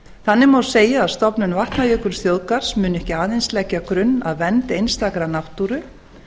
þannig má segja að stofnun vatnajökulsþjóðgarðs muni ekki aðeins leggja grunn að vernd einstakrar náttúru